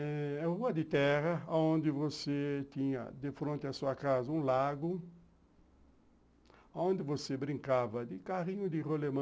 É uma rua de terra, onde você tinha de frente à sua casa um lago, onde você brincava de carrinho de rolemã,